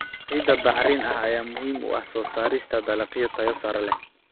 Ciidda bacrin ah ayaa muhiim u ah soo saarista dalagyo tayo sare leh.